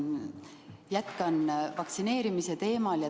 Jätkan vaktsineerimise teemal.